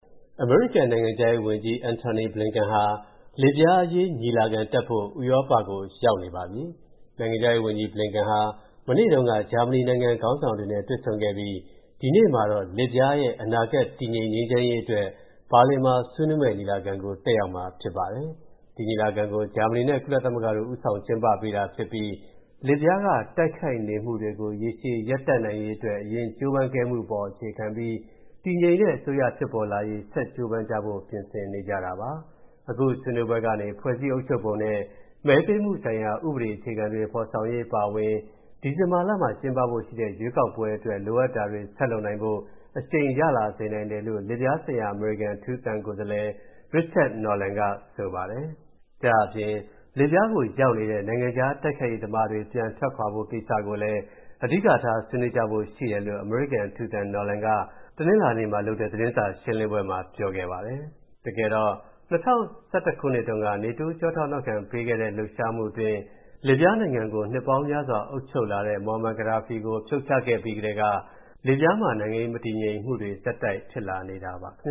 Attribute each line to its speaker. Speaker 1: အမေရိကန်နိုင်ငံခြားရေးဝန်ကြီး Antony Blinken ဟာ လစ်ဗျားအရေးညီလာခံတက်ဖို့ ဥရောပကို ရောက်နေပါပြီ။ နိုင်ငံခြားရေးဝန်ကြီး Blinken ဟာ မနေ့တုန်းက ဂျာမဏီနိုင်ငံ ခေါင်းဆောင်တွေနဲ့ တွေ့ဆုံခဲ့ပြီး၊ ဒီနေ့မှာ လစ်ဗျားရဲ့ အနာဂတ်တည်ငြိမ်ငြိမ်းချမ်းရေးအတွက် ဘာလင်မှာဆွေးနွေးမဲ့ ညီလာခံကို တက်ရောက်မှာပါ။ ဒီညီလာခံကို ဂျာမဏီနဲ့ ကုလသမဂ္ဂတို့က ဦးဆောင်ကျင်းပပေးတာဖြစ်ပြီး၊ လစ်ဗျားကတိုက်ခိုက်နေမူတွေကို ရေရှည်ရပ်တန့်နိုင်ရေးအတွက် အရင်ကြိုးပမ်းခဲ့မူအပေါ် အခြေခံပြီး တည်ငြိမ်တဲ့အစိုးရဖြစ်ပေါ်လာရေး ဆက်ကြိုးပမ်းကြဖို့ပြင်ဆင်နေကြပါတယ်။ အခုဆွေးနွေးပွဲကနေ ဖွဲ့စည်းအုပ်ချုပ်ပုံနဲ့ မဲပေးမူဆိုင်ရာဥပဒေအခြေခံတွေဖော်ဆောင်ရေးအပါအဝင် ဒီဇင်ဘာမှာကျင်းပဖို့ရှိတဲ့ ရွေးကောက်ပွဲတွေအတွက် လိုအပ်တာတွေဆက်လုပ်နိုင်ဖို့ အရှိန်ရလာစေနိုင်တယ်လို့ လစ်ဗျားဆိုင်ရာ အမေရိကန်အထူးသံကိုယ်စားလှယ် Richard Norland က ပြောပါတယ်။လစ်ဗျားကိုရောက်နေခဲ့တဲ့ နိုင်ငံခြားတိုက်ခိုက်ရေးသမားတွေ ပြန်ထွက်ခွာဖို့ကိစ္စကိုလည်း အဓိကထားဆွေးနွေးကြဖိုရှိတယ်လို့ အမေရိကန်အထူးသံ Norland က တနလာၤနေ့မှာလုပ်တဲ့ သတင်းစာရှင်းလင်းပွဲမှာ ပြောခဲ့ပါတယ်။ ၂၀၁၁ ခုနှစ် NATO ကျောထောက်နောက်ခံပေးတဲ့ လှုပ်ရှားမှုအတွင်း လစ်ဗျားနိုင်ငံကို နှစ်ပေါင်းများစွာအုပ်ချုပ်လာတဲ့ Moammar Gadhafi ကို ဖြုတ်ချခဲ့ပြီးကတည်းက လစ်ဗျားမှာ နိုင်ငံရေးမတည်ငြိမ်မှုတွေ ဆက်တိုက်ဖြစ်နေတာပါ။ လစ